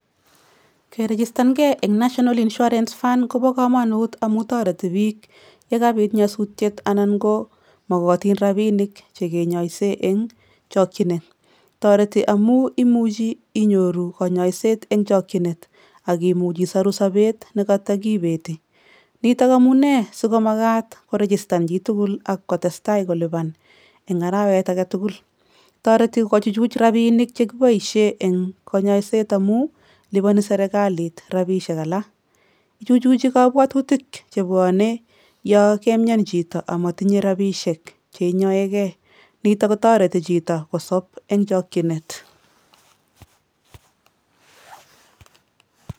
Kerigistangei eng national health insuarance kobo kamanut amu toreti biik yekabiit nyasutiet anan ko makatin roninik chekinyaisen eng'chokjinet. Toreti amuu imuji inyoruu kanyaiset eng' chakjinet akimuch isaru sobeet nekatakibeti. Nitook amunee sikomakat koregistan chitugul akolipan eng' arawet agetugul. toreti kochuchuj robinik che kiboishen eng' kanyaiset amuu lipani serekalit robishek alak. Ichuchuji kabwatutik chebwanei yakamnyan chito amatinyei robishek cheinyoegei. Nito kotareti chito kosab eng' chokjinet.